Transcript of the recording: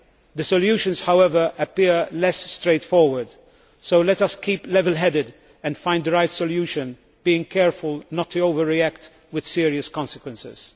The solutions, however, appear less straightforward, so let us keep level headed and find the right solution, being careful not to overreact with serious consequences.